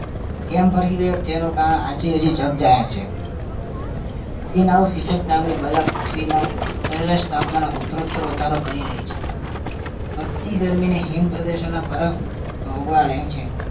કેમ ભરખી ગયો તેનું કારણ આજે હજી જગ જાહેર છે green house effect નામની બલા પૃથ્વીના સરેરાશ તાપમાનમાં ઉત્તરોત્તર વધારો કરી રહી છે વધતી ગરમીને હિમ પ્રદેશોના બરફ ઓગળે છે